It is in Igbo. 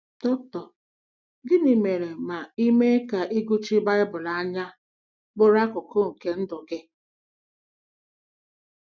Dr. Gịnị mere ma i mee ka ịgụchi Baịbụl anya bụrụ akụkụ nke ndụ gị?